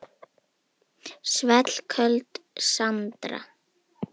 Svellköld Sandra.